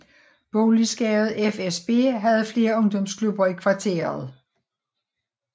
Boligselskabet FSB havde flere ungdomsklubber i kvarteret